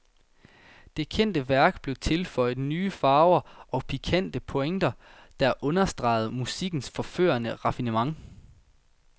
Det kendte værk blev tilføjet nye farver og pikante pointer, som understregede musikkens forførende raffinement.